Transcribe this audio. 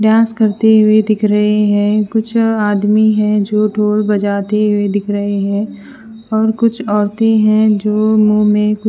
dance करती हुए दिख रहे हैं कुछ आदमी है जो ढोल बजाते हुए दिख रहे हैं और कुछ औरतें हैं जो मुंह में--